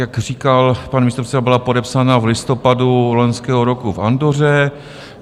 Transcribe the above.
Jak říkal pan místopředseda, byla podepsána v listopadu loňského roku v Andoře.